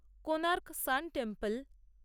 Konark sun temple